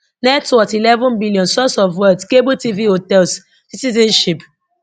net worth eleven billion source of wealth cable tv hotels citizenship